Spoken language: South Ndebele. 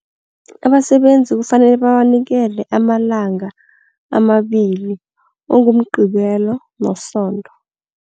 Abasebenzi kufanele babanikele amalanga amabili okunguMgqibelo noSonto.